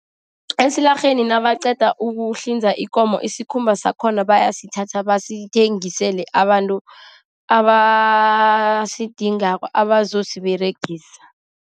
Esilarheni nabaqeda ukuhlinza ikomo, isikhumba sakhona bayasithatha bazithengisele abantu abasidingako. Abazosiberegisa.